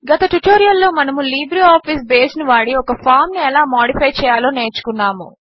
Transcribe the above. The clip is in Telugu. గత ట్యుటోరియల్ లో మనము లిబ్రేఆఫీస్ బేస్ ను వాడి ఒక ఫామ్ ను ఎలా మాడిఫై చేయాలో నేర్చుకున్నాము